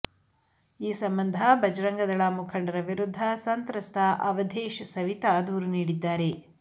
ಈ ಸಂಬಂಧ ಬಜರಂಗದಳ ಮುಖಂಡರ ವಿರುದ್ಧ ಸಂತ್ರಸ್ತ ಅವಧೇಶ್ ಸವಿತಾ ದೂರು ನೀಡಿದ್ದಾರೆ